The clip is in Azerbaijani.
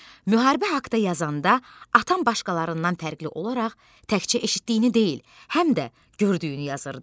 Müharibə haqda yazanda atam başqalarından fərqli olaraq təkcə eşitdiyini deyil, həm də gördüyünü yazırdı.